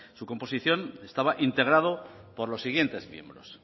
su composición estaba integrado por los siguientes miembros